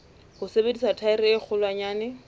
ho sebedisa thaere e kgolwanyane